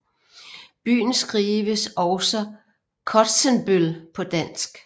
Byen skrives også Kotsenbøl på dansk